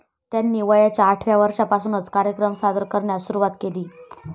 त्यांनी वयाच्या आठव्या वर्षापासूनच कार्यक्रम सादर करण्यास सुरूवात केली.